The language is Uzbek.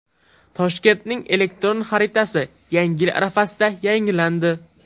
Toshkentning elektron xaritasi Yangi yil arafasida yangilandi.